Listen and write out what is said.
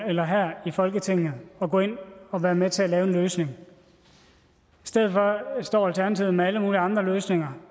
eller her i folketinget at gå ind og være med til at lave en løsning i stedet for står alternativet med alle mulige andre løsninger